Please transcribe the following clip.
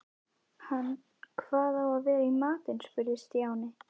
Hvað á að vera í matinn? spurði Stjáni.